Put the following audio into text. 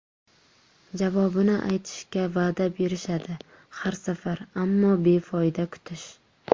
Javobini aytishga va’da berishadi har safar, ammo befoyda kutish.